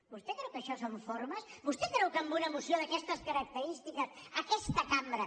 vostè creu que això són formes vostè creu que amb una moció d’aquestes característiques aquesta cambra